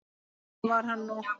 Svona var hann nú.